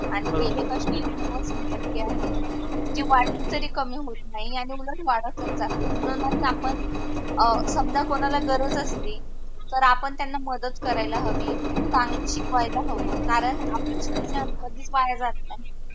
जी वाटली तरी कमी होत नाही आणि उलट वाटच जाते म्हणूनच आपण अं समजा कोणाला गरज असली तर आपण त्याला मदत करायला हवी चांगल शिकवायला हव कारण आपल शिक्षण कधीच वाया जात नाही.